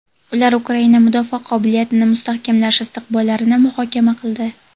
ular Ukraina mudofaa qobiliyatini mustahkamlash istiqbollarini muhokama qildi.